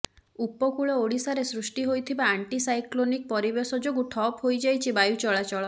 ଉପକୂଳ ଓଡ଼ିଶାରେ ସୃଷ୍ଟି ହୋଇଥିବା ଆଣ୍ଟି ସାଇକ୍ଲୋନିକ ପରିବେଶ ଯୋଗୁ ଠପ ହୋଇଯାଇଛି ବାୟୁ ଚଳାଚଳ